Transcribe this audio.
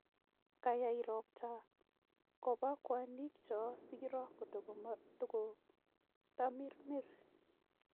kayai ropta koba kwanyik cho siiro kototamirmir